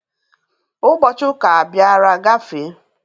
Ụbọchị ụka abiara gafee.